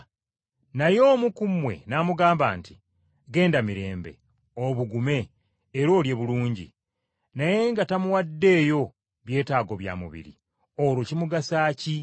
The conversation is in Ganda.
naye omu ku mmwe n’amugamba nti, “Genda mirembe, obugume, era olye bulungi”, naye nga tamuwaddeeyo byetaago bya mubiri, olwo kimugasa ki?